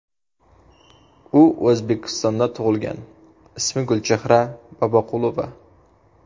U O‘zbekistonda tug‘ilgan, ismi Gulchehra Boboqulova.